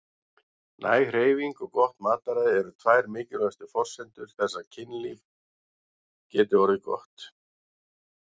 Næg hreyfing og gott mataræði eru tvær mikilvægustu forsendur þess að kynlífið geti orðið gott.